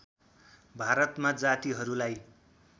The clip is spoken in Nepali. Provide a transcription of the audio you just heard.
भारतमा जातिहरूलाई